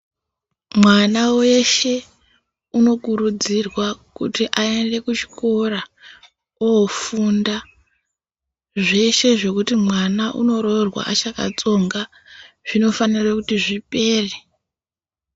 Mwana weshe unokurudzirwa kuti aende kuchikora oofunda .Zveshe zvekuti mwana unoroorwa achakatsonga zvinofanira kuti zvipere.